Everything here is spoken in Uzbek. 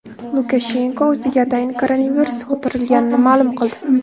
Lukashenko o‘ziga atayin koronavirus yuqtirilganini ma’lum qildi.